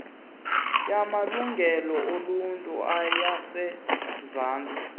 yamalungelo oluntu yasemzantsi